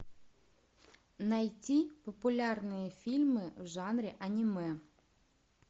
найти популярные фильмы в жанре аниме